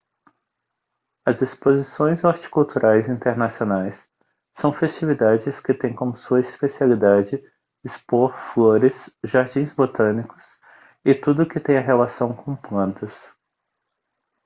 as exposições horticulturais internacionais são festividades que tem como sua especialidade expor flores jardins botânicos e tudo o que tenha relação com plantas